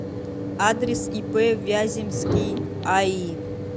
адрес ип вяземский аи